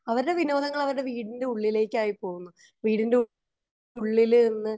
അവരുടെ വിനോദങ്ങൾ അവരുടെ വീടിന്റെ ഉളിലേക്ക് ആയിപോകുന്നു വീടിന്റെ ഉള്ളില്